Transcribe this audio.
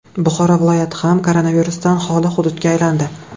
Buxoro viloyati ham koronavirusdan xoli hududga aylandi.